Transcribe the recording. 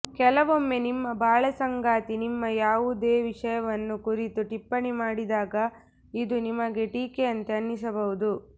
ಕೆಲವೊಮ್ಮೆ ನಿಮ್ಮ ಬಾಳಸಂಗಾತಿ ನಿಮ್ಮ ಯಾವುದೋ ವಿಷಯವನ್ನು ಕುರಿತು ಟಿಪ್ಪಣಿ ಮಾಡಿದಾಗ ಇದು ನಿಮಗೆ ಟೀಕೆಯಂತೆ ಅನ್ನಿಸಬಹುದು